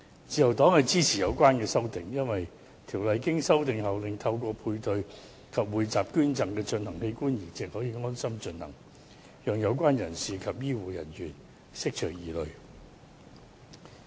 自由黨支持有關修訂，因為《人體器官移植條例》經修訂後，令透過配對及匯集捐贈而進行的器官移植可以安心進行，以釋除有關人士及醫護人員疑慮。